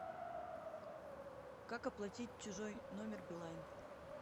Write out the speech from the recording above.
как оплатить чужой номер билайн